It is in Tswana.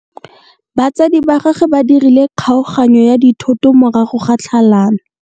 Batsadi ba gagwe ba dirile kgaoganyô ya dithoto morago ga tlhalanô.